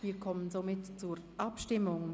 Wir kommen zur Abstimmung.